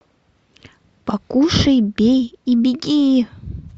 покушай бей и беги